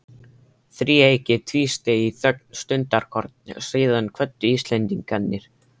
Þríeykið tvísteig í þögn stundarkorn, síðan kvöddu Íslendingarnir.